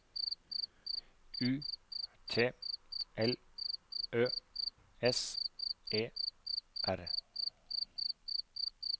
U T L Ø S E R